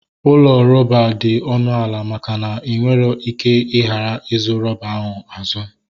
Ụlọ rọba dị ọnụ ala maka na inwere ike igaghi azu rọba ahụ azu